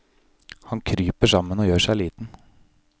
Han kryper sammen og gjør seg liten.